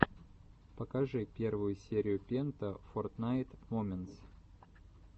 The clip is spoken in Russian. покажи первую серию пента фортнайт моментс